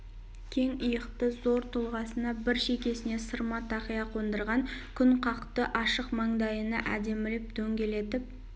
кең иықты зор тұлғасына бір шекесіне сырма тақия қондырған күнқақты ашық мандайына әдемілеп дөңгелетіп